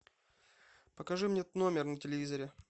покажи мне тномер на телевизоре